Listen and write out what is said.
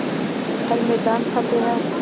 हर मैदान फ़तेह